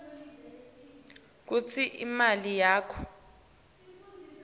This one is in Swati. kutsi imali yakho